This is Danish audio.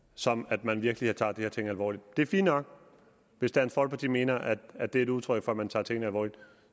som at man virkelig tager de her ting alvorligt det er fint nok hvis dansk folkeparti mener at at det er et udtryk for at man tager tingene alvorligt